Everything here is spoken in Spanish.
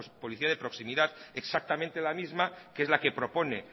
policía de proximidad exactamente la misma que es la que propone